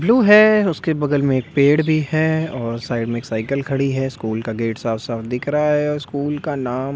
blue है उसके बगल में एक पेड़ भी है और साइड में एक साइकिल खड़ी है स्कूल का गेट साफ-साफ दिख रहा है स्कूल का नाम --